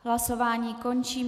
Hlasování končím.